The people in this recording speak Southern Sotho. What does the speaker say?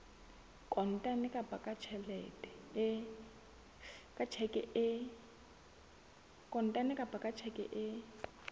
kontane kapa ka tjheke e